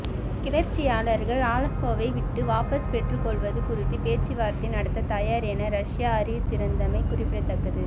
கிளர்ச்சியாளர்கள் அலப்போவை விட்டு வாபஸ் பெற்றுக்கொள்வது குறித்து பேச்சுவார்த்தை நடத்தத் தயார் என ரஸ்யா அறிவித்திருந்தமை குறிப்பிடத்தக்கது